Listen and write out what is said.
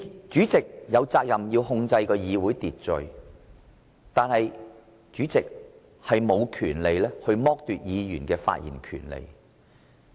主席有責任控制會議秩序，但卻無權剝奪議員的發言權利。